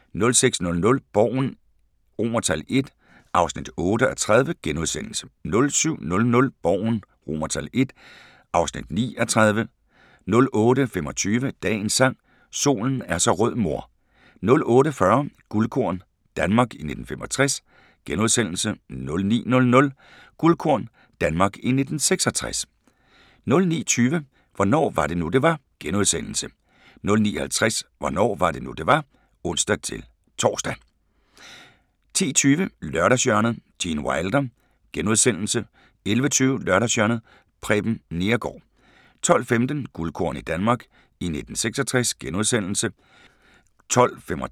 06:00: Borgen I (8:30)* 07:00: Borgen I (9:30) 08:25: Dagens Sang: Solen er så rød mor 08:40: Guldkorn – Danmark i 1965 * 09:00: Guldkorn – Danmark i 1966 * 09:20: Hvornår var det nu det var * 09:50: Hvornår var det nu, det var? (ons-tor) 10:20: Lørdagshjørnet - Gene Wilder * 11:20: Lørdagshjørnet – Preben Neergaard 12:15: Guldkorn – Danmark i 1966 *